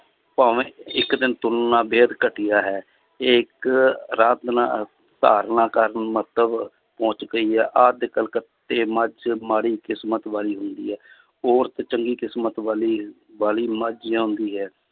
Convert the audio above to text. ਭਾਵੇਂ ਇੱਕ ਦਿਨ ਤੁਰਨਾ ਬੇਹਦ ਘਟੀਆ ਹੈ ਇਹ ਇੱਕ ਧਾਰਨਾ ਕਰਨ ਮੰਤਵ ਪਹੁੰਚ ਗਈ ਹੈ ਕਲਕੱਤੇ ਮੱਝ ਮਾੜੀ ਕਿਸ਼ਮਤ ਵਾਲੀ ਹੁੰਦੀ ਹੈ ਔਰਤ ਚੰਗੀ ਕਿਸ਼ਮਤ ਵਾਲੀ ਹੈ ਵਾਲੀ ਮੱਝ ਜਿਉਂਦੀ ਹੈ।